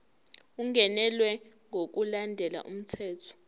ungenelwe ngokulandela umthetho